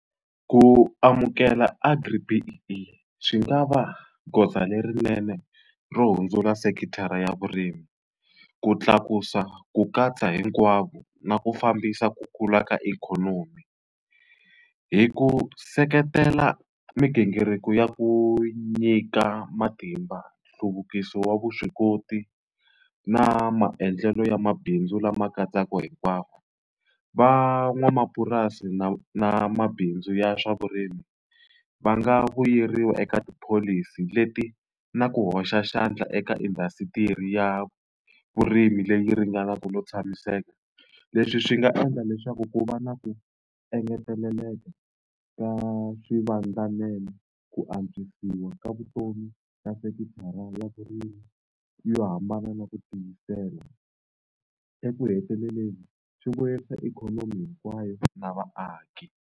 Ku amukela Agri-B_E_E i swi nga va goza lerinene ro hundzula sekithara ya vurimi, ku tlakusa ku katsa hinkwavo, na ku fambisa ku kula ka ikhonomi. Hi ku seketela migingiriko ya ku nyika matimba, nhluvukiso wa vuswikoti, na maendlelo ya mabindzu lama katsaka hinkwavo. Van'wamapurasi na na mabindzu ya swa vurimi, va nga vuyeriwa eka tipholisi leti na ku hoxa xandla eka indhasitiri ya vurimi leyi ringanaka no tshamiseka. Leswi swi nga endla leswaku ku va na ku engeteleleka ka swivandlanene, ku antswisiwa ka vutomi ka sekithara ya vurimi yo hambana na ku tiyisela. Eku heteleleni swi vuyerisa ikhonomi hinkwayo na vaaki.